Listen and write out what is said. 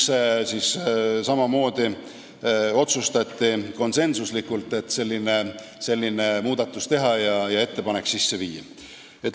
Seal samamoodi otsustati konsensuslikult selline muudatus teha ja see ettepanek sisse viia.